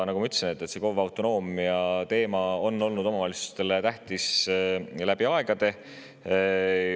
Nagu ma ütlesin, KOV‑ide autonoomia teema on olnud omavalitsustele tähtis läbi aegade.